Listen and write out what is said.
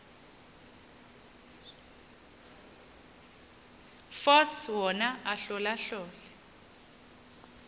force wona ahlolahlole